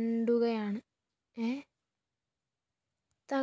ണ്ടുകയാണ്‌